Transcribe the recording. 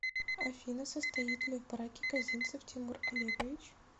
афина состоит ли в браке козинцев тимур олегович